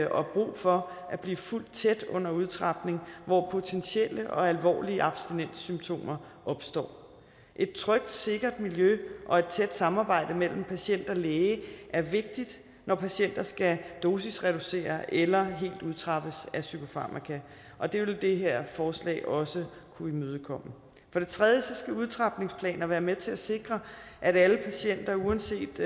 og brug for at blive fulgt tæt under udtrapning hvor potentielle og alvorlige abstinenssymptomer opstår et trygt og sikkert miljø og et tæt samarbejde mellem patient og læge er vigtigt når patienter skal dosisreduceres eller helt udtrappes af psykofarmaka og det vil det her forslag også kunne imødekomme for det tredje skal udtrapningsplaner være med til at sikre at alle patienter uanset